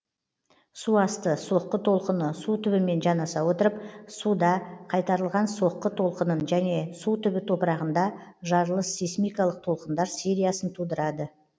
су асты соққы толқыны су түбімен жанаса отырып суда қайтарылған соққы толқынын және су түбі топырағында жарылыс сейсмикалық толқындар сериясын тудырады